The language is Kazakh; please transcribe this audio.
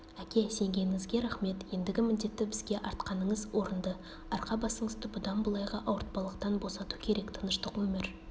әке сенгеніңізге рақмет ендігі міндетті бізге артқаныңыз орынды арқа-басыңызды бұдан былайғы ауыртпалықтан босату керек тыныштық өмір